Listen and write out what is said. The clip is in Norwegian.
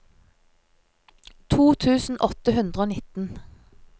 to tusen åtte hundre og nitten